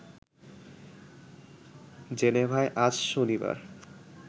জেনেভায় আজ শনিবার